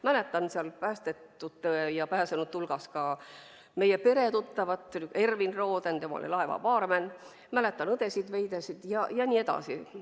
Mäletan seal päästetute hulgas ka meie peretuttavat Ervin Rodenit – tema oli laeva baarmen –, mäletan õdesid Veidesid ja nii edasi.